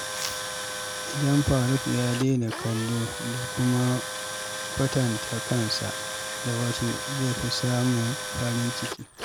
Idan Faruk ya daina kallo da kuma kwatanta kansa da wasu, zai fi samun farin ciki.